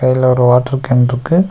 இதுல ஒரு வாட்ரூ கேன்ட்ருக்கு .